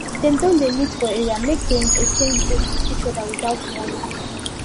dem don dey meet for area make dem exchange goods with each other without money